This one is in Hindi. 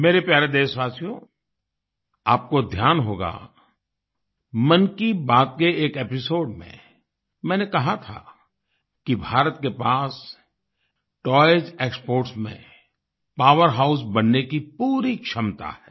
मेरे प्यारे देशवासियो आपको ध्यान होगा मन की बात के एक एपिसोड में मैंने कहा था कि भारत के पास टॉयज़ एक्सपोर्ट्स में पावरहाउस बनने की पूरी क्षमता है